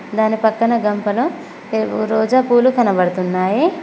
దాని పక్కన గంపలో ఏవో రోజా పూలు కనపడుతున్నాయి.